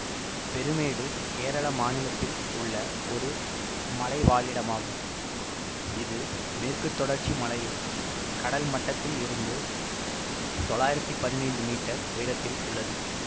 பெருமேடு கேரள மாநிலத்தில் உள்ள ஒரு மலைவாழிடமாகும் இது மேற்கு தொடர்ச்சி மலையில் கடல் மட்டத்தில் இருந்து தொள்ளாயிரத்தி பதினைந்து மீட்டர் உயரத்தில் உள்ளது